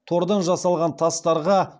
тордан жасалған тастарға